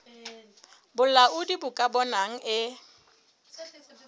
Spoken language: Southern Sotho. bolaodi bo ka bonang e